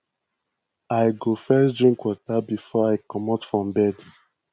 i go first drink water before i comot from bed